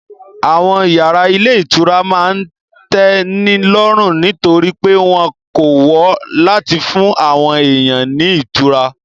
Àwọn yàrá ilé ìtura máa n tẹ́ni lọ́rùn nítorí pé wọ́n kọ́ wọn láti fún àwọn èèyàn ní ìtura